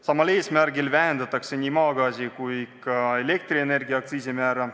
Samal eesmärgil vähendatakse nii maagaasi kui ka elektrienergia aktsiisimäära.